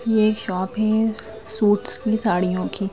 यह एक शॉप है सूट्स की साड़ियों की।